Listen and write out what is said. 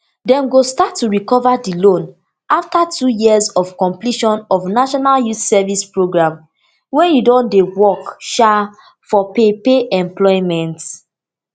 dem go start to recover di loan afta two years of completion of national youth service programme wen you don dey work um for paid paid employment